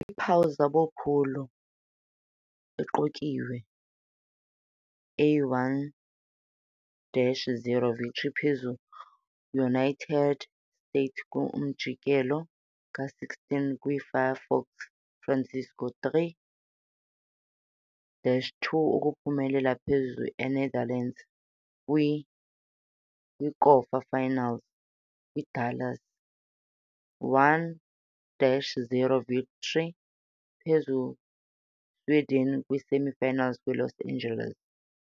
Iphawula zabo phulo iqukiwe a 1-0 victory phezu - United States kwi-umjikelo ka-16 kwi - Firefox Francisco, 3-2 ukuphumelela phezu Enetherlands kwi-kwikota-finals kwi - Dallas, 1-0 victory phezu Sweden kwi-semi-finals kwi - Los Angeles.